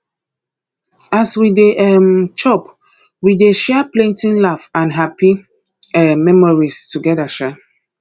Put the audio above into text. as we dey um chop we dey share plenty laugh and happy um memories together um